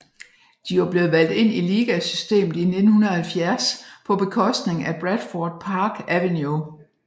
De var blevet valgt ind i ligasystemet i 1970 på bekostning af Bradford Park Avenue